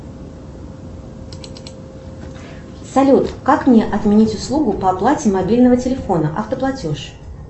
салют как мне отменить услугу по оплате мобильного телефона автоплатеж